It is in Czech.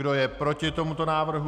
Kdo je proti tomuto návrhu?